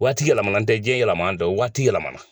Waati yɛlɛmana n tɛ diɲɛ yɛlɛma n tɛ waati yɛlɛmana